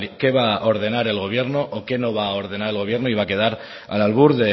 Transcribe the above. qué va a ordenar el gobierno o qué no va a ordenar el gobierno y va a quedar al albur